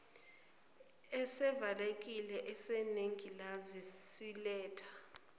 esivalekile esinengilazi siletha